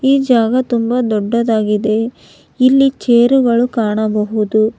ಈ ಜಾಗ ತುಂಬ ದೊಡ್ಡದಾಗಿದೆ ಇಲ್ಲಿ ಚೇರುಗಳು ಕಾಣಬಹುದು.